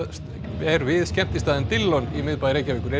er við skemmtistaðinn Dillon í miðbæ Reykjavíkur er